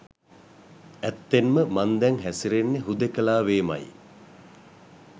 ඇත්තෙන්ම මං දැන් හැසිරෙන්නේ හුදෙකලාවේමයි.